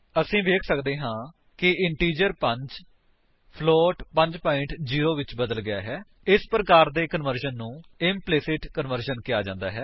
ਅਸੀ ਵੇਖ ਸੱਕਦੇ ਹਾਂ ਕਿ ਇੰਟੀਜਰ 5 ਫਲੋਟ 5 0 ਵਿੱਚ ਬਦਲ ਗਿਆ ਹੈ ਇਸ ਪ੍ਰਕਾਰ ਦੇ ਕਨਵਰਜਨ ਨੂੰ ਇੰਪਲੀਸਿਟ ਕਨਵਰਜਨ ਕਿਹਾ ਜਾਂਦਾ ਹੈ